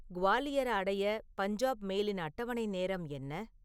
குவாலியரை அடைய பஞ்சாப் மெயிலின் அட்டவணை நேரம் என்ன